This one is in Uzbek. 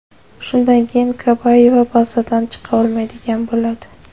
Shundan keyin Kabayeva bazadan chiqa olmaydigan bo‘ladi.